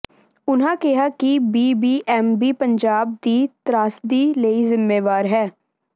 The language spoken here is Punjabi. ਉਨ੍ਹਾਂ ਕਿਹਾ ਕਿ ਬੀਬੀਐਮਬੀ ਪੰਜਾਬ ਦੀ ਤ੍ਰਾਸਦੀ ਲਈ ਜ਼ਿੰਮੇਵਾਰ ਹੈ